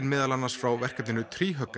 meðal annars frá verkefninu